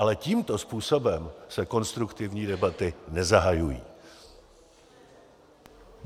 Ale tímto způsobem se konstruktivní debaty nezahajují.